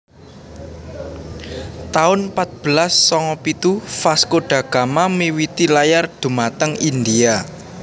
taun patbelas sanga pitu Vasco da Gama miwiti layar dhumateng India